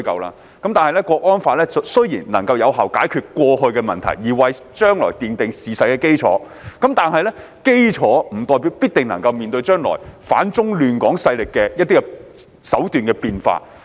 《香港國安法》雖然能有效解決過去的問題，為今後的處理奠定基礎，但這並不代表它必定能應對反中亂港勢力將來在手段上的變化。